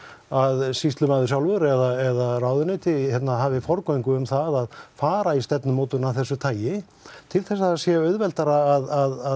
að sýslumaður sjálfur eða ráðuneyti hafi forgöngu um það að fara í stefnumótun af þessu tagi til þess að það sé auðveldara að